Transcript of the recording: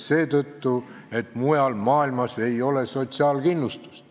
Seetõttu, et mujal maailmas ei ole sotsiaalkindlustust.